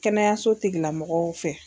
Kɛnɛyaso tigila mɔgɔw fɛ.